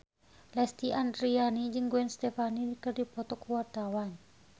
Lesti Andryani jeung Gwen Stefani keur dipoto ku wartawan